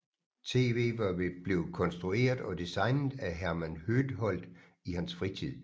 TVet var blevet konstrueret og designet af Herman Høedholt i hans fritid